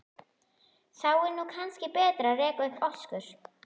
Þá er nú kannski betra að reka upp öskur.